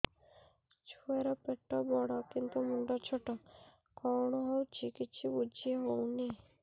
ଛୁଆର ପେଟବଡ଼ କିନ୍ତୁ ମୁଣ୍ଡ ଛୋଟ କଣ ହଉଚି କିଛି ଵୁଝିହୋଉନି